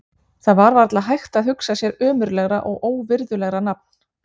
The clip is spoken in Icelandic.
Það var varla hægt að hugsa sér ömurlegra og óvirðulegra nafn.